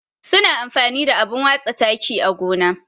Su na amfani da abun watsa taki á gona.